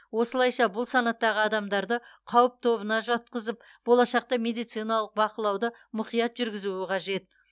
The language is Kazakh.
осылайша бұл санаттағы адамдарды қауіп тобына жатқызып болашақта медициналық бақылауды мұқият жүргізуі қажет